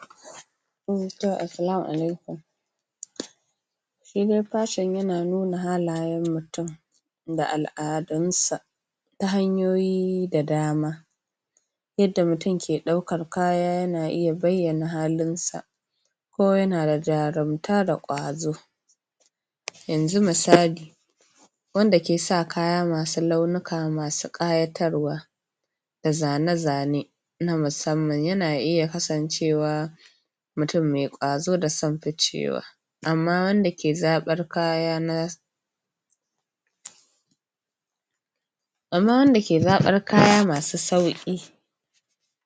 ? Assalamu alaikum shi dai fashon yana nuna halayan mutun da al'adunsa ta hanyoyi da dama yada mutun yake ɗaukan kaya yana iya baiyana halinsa ko yanada jarumta da kwazo yanzu misali wanda kesa kaya masu launika masu ƙayatarwa da zane zane na musamman yana iya kasancewa mutun me ƙwazo da son ficewa amma wanda ke zaɓar kaya na amma wanda ke zaɓar kaya masu sauki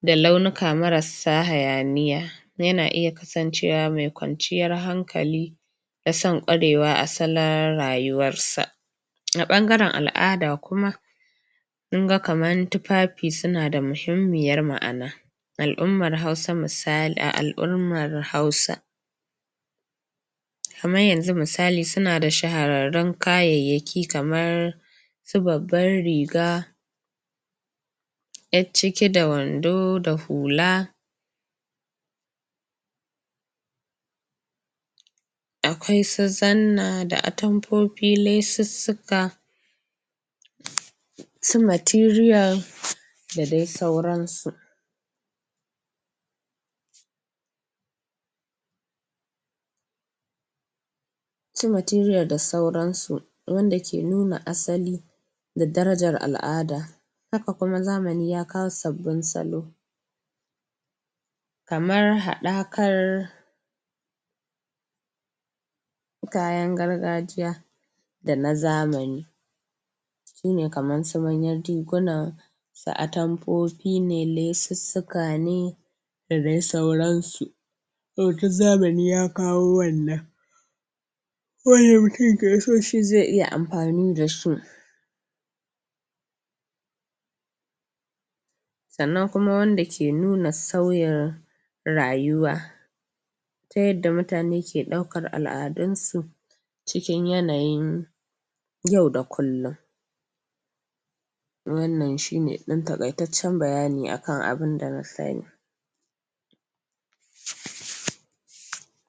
da launika marasa hayaniya yana iya kasan cewa me kwanciyan han kali da san kwarewa a asalin rayuwarsa a ɓangaran al'ada kuma kinga kaman tufafi sunada muhimmiyar ma'ana al'umma hausa misali, a al'ummar hausa kamar yanzu misali sunada shahararrun kayaiyaki kaman su babbar riga Yacciki da wando da hula akwasu zanna da atantanfofi lessu suka su matiriyal da dai sauran su su amtiriyal da sauran su wanda ke nuna asali da darajal al'ada haka kuma zamani yakawo sabbin salo kamar haɗakar kayan gargajiya da na zamani shine kaman su manyan riguna da atanfofi ne lesussuka ne da dai sauransu yau duk zamani ya kawo wannan ko me mitin keso shi ze iya amfani dashi sannan kuma wanda ke nuna sauyin rayuwa ta yadda mutane ke ɗaukan al'adunsu cikin yanayin yau da kullun wannan shine ɗan taƙyaican can bayani akan abun da na sani